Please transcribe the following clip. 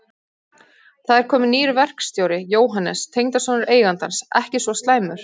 Það er kominn nýr verkstjóri, Jóhannes, tengdasonur eigandans, ekki svo slæmur.